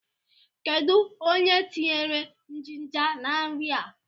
Kedụ onye tinyere jinja na nri a?